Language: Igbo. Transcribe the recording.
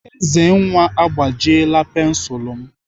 Ezenwa agbajiela pensilu m.